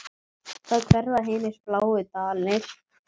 Þá hverfa hinir bláu dalir.